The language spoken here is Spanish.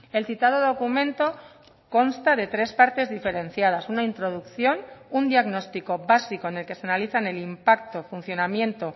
el citado documento consta de tres partes diferenciadas una introducción un diagnóstico básico en el que se analizan el impacto funcionamiento